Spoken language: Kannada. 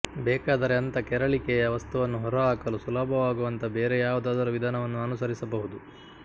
ಬೇಕಾದರೆ ಅಂಥ ಕೆರಳಿಕೆಯ ವಸ್ತುವನ್ನು ಹೊರಹಾಕಲು ಸುಲಭವಾಗುವಂಥ ಬೇರೆ ಯಾವುದಾದರೂ ವಿಧಾನವನ್ನು ಅನುಸರಿಸಬಹುದು